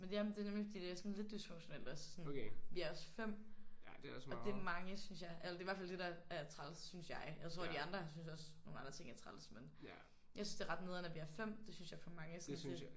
Men ja men det er nemlig fordi det er sådan lidt dysfunktionelt også. Vi er også 5 og det er mange synes jeg. Eller det er i hvert fald det der er træls synes jeg. Jeg tror de andre synes også nogle andre ting er træls men jeg synes det er ret nederen at vi er 5. Det synes jeg er for mange sådan til